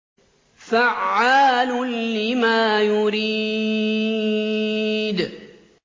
فَعَّالٌ لِّمَا يُرِيدُ